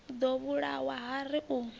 ḓo vhulawa ha ri a